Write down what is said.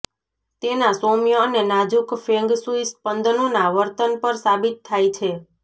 તેના સૌમ્ય અને નાજુક ફેંગ શુઇ સ્પંદનોના વર્તન પર સાબિત થાય છે